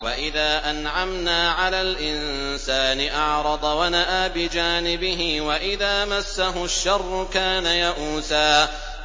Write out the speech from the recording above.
وَإِذَا أَنْعَمْنَا عَلَى الْإِنسَانِ أَعْرَضَ وَنَأَىٰ بِجَانِبِهِ ۖ وَإِذَا مَسَّهُ الشَّرُّ كَانَ يَئُوسًا